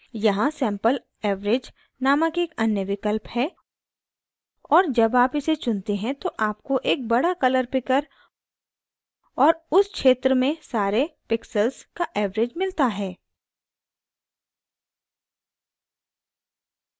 यहाँ sample average नामक एक अन्य विकल्प है और जब आप इसे चुनते हैं तो आपको एक बड़ा color picker और उस क्षेत्र में सारे pixels का average मिलता है